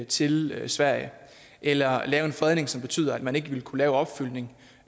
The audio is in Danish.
til sverige eller lave en fredning som betyder at man ikke vil kunne lave opfyldning